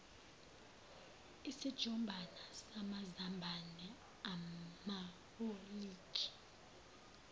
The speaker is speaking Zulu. isijumbana samazambane amawolintshi